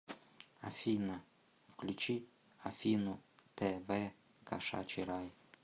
афина включи афину тэ вэ кошачий рай